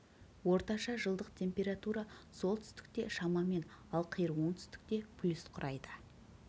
орташа жылдық температура солтүстікте шамамен ал қиыр оңтүстікте плюс құрайды